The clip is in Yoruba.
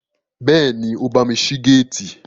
Bẹ́ẹ̀ni, ó bámi ṣí géètì